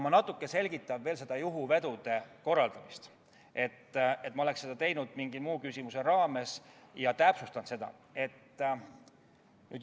Ma natuke selgitan veel juhuvedude korraldamist – ma oleksin seda nagunii teinud mingi muu küsimuse raames – ja täpsustan seda.